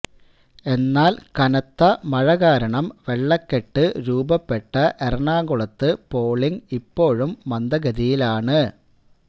എന്നാൽ കനത്ത മഴകാരണം വെള്ളക്കെട്ട് രൂപപ്പെട്ട എറണാകുളത്ത് പോളിങ് ഇപ്പോഴും മന്ദഗതിയിലാണ്